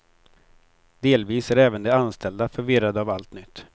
Delvis är även de anställda förvirrade av allt nytt.